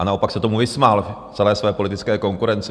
a naopak se tomu vysmál, celé své politické konkurenci.